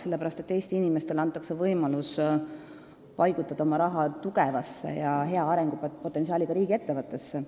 Sellepärast, et Eesti inimestele antakse võimalus paigutada oma raha tugevasse ja hea arengupotentsiaaliga riigiettevõttesse.